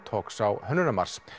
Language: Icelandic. talks á Hönnunarmars